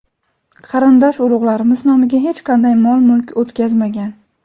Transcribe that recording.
Qarindosh-urug‘larimiz nomiga hech qanday mol-mulk o‘tkazmagan.